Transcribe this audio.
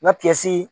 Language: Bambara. Na tilasi